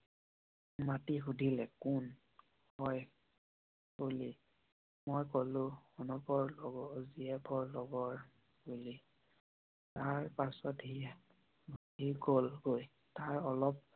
মাতি সুধিলে কোন হয় বুলি? মই কোলো জিএফ ৰ লগৰ বুলি। তাৰ পাছতহে কল গৈ ।